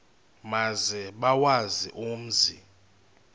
maze bawazi umzi